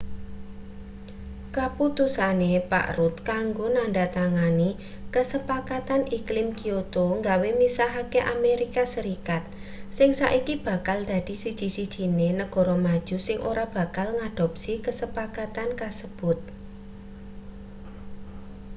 kaputusane pak rudd kanggo nandhatangani kasepakatan iklim kyoto gawe misahke amerika serikat sing saiki bakal dadi siji-sijine negara maju sing ora bakal ngadopsi kasepakatan kasebut